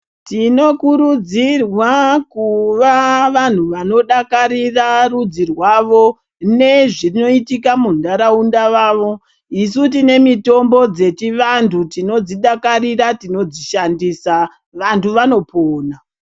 Tinokurudzirwa kuva vantu vanodakarira rudzi rwavo nezvinoitika mundaraunda mavo isu tine mitombo dzechivantu tinodzidakarira tinodzishandisa, vantu vanopona.